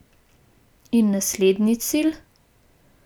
In naslednji cilj?